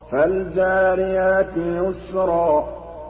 فَالْجَارِيَاتِ يُسْرًا